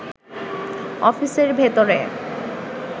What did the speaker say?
অফিসের ভেতরে